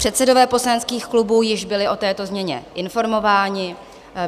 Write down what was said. Předsedové poslaneckých klubů již byli o této změně informováni.